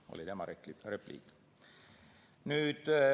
See oli tema isiklik repliik.